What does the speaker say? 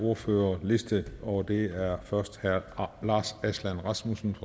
ordførerliste og det er først herre lars aslan rasmussen